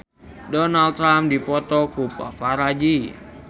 Donald Trump dipoto ku paparazi